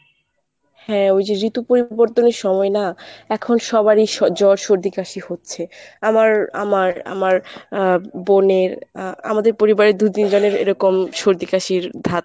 হ্যাঁ ওই যে ঋতু পরিবর্তনের সময় না এখন সবারই জ্বর সর্দি কাশি হচ্ছে আমার আমার আমার আ বোনের আ আমাদের পরিবারের দু তিনজনের এরকম সর্দি কাশির ধাত।